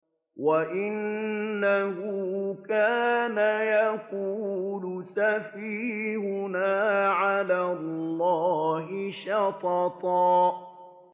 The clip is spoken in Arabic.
وَأَنَّهُ كَانَ يَقُولُ سَفِيهُنَا عَلَى اللَّهِ شَطَطًا